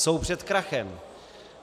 Jsou před krachem.